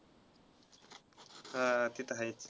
हा ते तर आहेच.